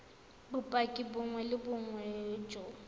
bopaki bongwe le bongwe jo